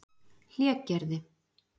Hlégerði